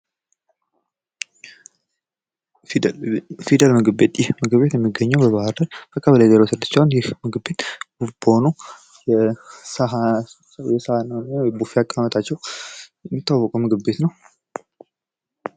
ፊደል ምግብ ቤት ይህ ምግቤት የሚገኘው በባህር ዳር በቀበሌ ዘሮ ስድስት ሲሆን ይህ ምግብ ቤት በሰሃን እና በቡፌ አቀማመጣቸው የሚታወቅ ቤት ነው።